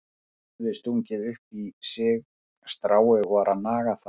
Hann hafði stungið upp í sig strái og var að naga það.